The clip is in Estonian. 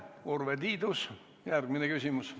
Urve Tiidus, järgmine küsimus.